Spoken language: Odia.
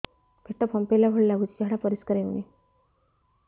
ପେଟ ଫମ୍ପେଇଲା ଭଳି ଲାଗୁଛି ଝାଡା ପରିସ୍କାର ହେଉନି